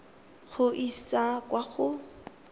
go e isa kwa go